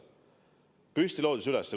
Püstloodis üles!